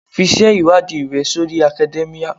Fi ìṣe-ìwádìí rẹ sórí academia.